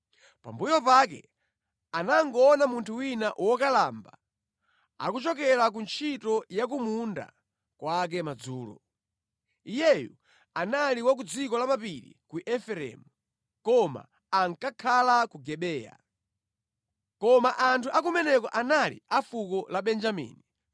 Pambuyo pake anangoona munthu wina wokalamba akuchokera ku ntchito ya ku munda kwake madzulo. Iyeyu anali wa ku dziko la mapiri ku Efereimu, koma ankakhala ku Gibeya. Koma anthu a kumeneko anali a fuko la Benjamini.